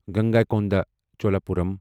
Gangaikonda Cholapuram